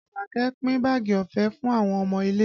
Àṣàkẹ́ pin báàgì ọ̀fẹ́ fún àwọn ọmọ ilé